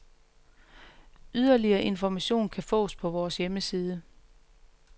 Yderligere information kan fås på vores hjemmeside.